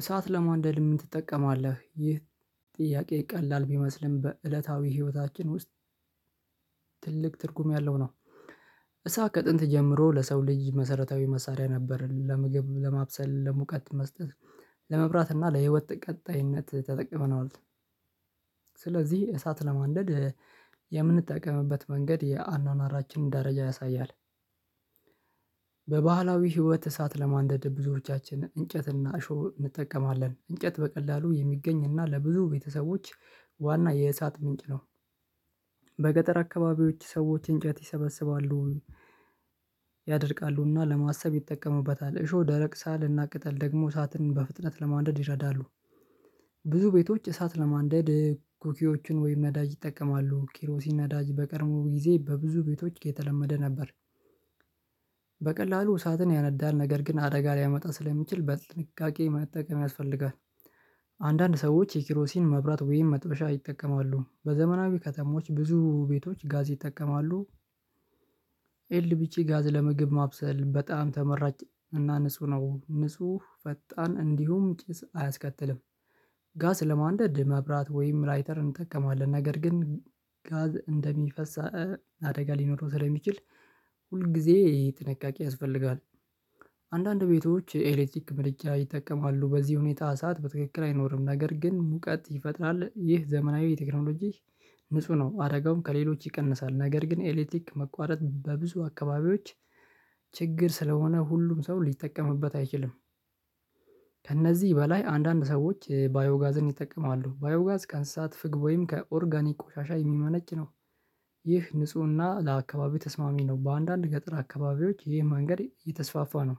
እሳት ለማንደድ ምን ትጠቀማለህ? ይህ ጥያቄ ቀላል ቢመስልም በእለታዊ ህይወታችን ውስጥ ትልቅ ትርጉም ያለው ነው። እሳት ከጥንት ጀምሮ ለሰው ልጅ መሰረታዊ መሳሪያ ነበር ለመግብ ለማብሰል ለሙቀት መስጠት ለመብራት እና ለህይወት ቀጣይነት ተጠቅመነዋል። ስለዚህ እሳት ለማንደድ የምንጠቀምበት መንገድ የአኗኗራችንን ደረጃ ያሳያል። በባህላዊ ህይወት እሳት ለማንደድ ብዙዎቻችንን እንጨትና እሾህ እንጠቀማለን እንጨት በቀላሉ የሚገኝ እና ለብዙ ቤተሰቦች ዋና የእሳት ምንጭ ነው። በገጠር አካባቢዎች ሰዎች እንጨት ይሰበስባሉ። ያደርቃሉና ለማሰብ ይጠቀሙበታል እሾህ ደረቅ ሳርና ቅጠል ደግሞ እሳትን በፍጥነት ለማንደድ ይረዳሉ። ብዙ ቤቶች እሳት ለማንደድ ኩኪዎችን ወይም ነዳጅ ይጠቀማሉ ኪሮሲ ነዳጅ በቀርሞ ጊዜ በብዙ ቤቶች ከተለመደ ነበር። በቀላሉ እሳትን ያነዳል ነገር ግን አደጋ ሊያመጣ ስለሚችል በጥንቃቄ መጠቀም ያስፈልጋል። አንዳንድ ሰዎች የኪሮሲን መብራት ወይም መጥበሻ ይጠቀማሉ በዘመናዊ ከተሞች ብዙ ቤቶች ጋዝ ይጠቀማሉ። ኤልቢቺ ጋዝ ለመግብ ማብሰል በጣም ተመራጭ እና ንጹህ ነው ንጹህ ፈጣን እንዲሁም ጭስ አያስከትልም። ጋስ ለማንደድ መብራት ወይም ራይተር እንጠቀማለን ነገር ግን ጋዝ እንደሚፈስ አደጋ ሊኖረው ስለሚችል ሁል ጊዜ ይሄ ጥንቃቄ ያስፈልጋል። አንዳንድ ቤቶች የኤሌክትሪክ ምድጃ ይጠቀማሉ በዚህ ሁኔታ እሳት በትክክል አይኖርም ነገር ግን ሙቀት ይፈጥራል ይህ ዘመናዊ ቴክኖሎጂ ንጹህ ነው አደጋውም ከሌሎች ይቀንሳል ነገር ግን ኤሌክቲክ መቋረጥ በብዙ አካባቢዎች ችግር ስለሆነ ሁሉም ሰው ሊጠቀምበት አይችልም። ከእነዚህ በላይ አንዳንድ ሰዎች ባዮጋዝን ይጠቀማሉ ባዮ ጋዝ ቀን ስሳት ፍግቦይም ከኦርጋኒክ ቆሻሻ የሚመነጭ ነው። ይህ ንፁህና ለአካባቢው ተስማሚ ነው በአንዳንድ ገጠር አካባቢዎች ይሄን መንገድ እየተስፋፋ ነው።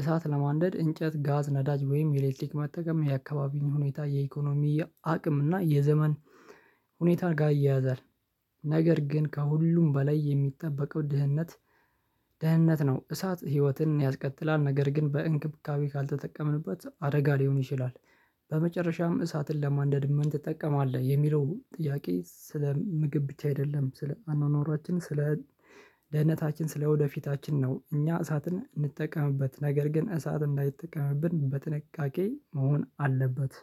እሳት ለማንደድ እንጨት ጋዝ ነዳጅ ወይም የኤሌክትሪክ መጠቀም የአካባቢን ሁኔታ የኢኮኖሚ አቅም እና የዘመን ሁኔታን ጋር ይያያዛል። ነገር ግን ከሁሉም በላይ የሚጠበቀው ድህነት ድህነት ነው። እሳት ህይወትን ያስከትላል ነገር ግን በእንክብካቤ ካልተጠቀምንበት አደጋ ሊሆን ይችላል። በመጨረሻም እሳትን ለማንደድ ምን ትጠቀማለህ የሚለው ጥያቄ ስለ ምግብ ብቻ አይደለም። ስለ አኗኗራችን ስለ ደህንነታችን ስለወደፊታችን ነው። እኛ እሳትን እንጠቀምበት ነገር ግን እሳት እንዳይጠቀምብን በትንቃቄ መሆን አለበት።